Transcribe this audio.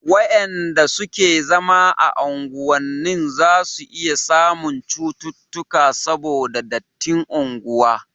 wayanda suke zama a unguwannin zasu iya samun cuttutuka saboda dattin unguwa